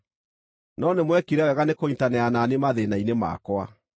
No, nĩmwekire wega nĩkũnyiitanĩra na niĩ mathĩĩna-inĩ makwa.